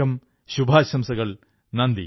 അനേകം ശുഭാശംസകൾ